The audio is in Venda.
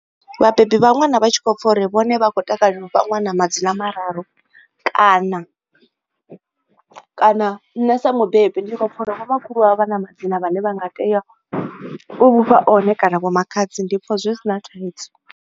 Vhabebi vha ṅwana vha tshi khou pfa uri vhone vha khou takalela u fha ṅwana madzina mararu kana kana nṋe sa mubebi ndi tshi khou pfa uri vho makhulu vha vhana madzina a ne vha nga tea u mufha one kana vho makhadzi ndi pfa zwi si na thaidzo.